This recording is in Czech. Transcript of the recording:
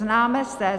Známe se.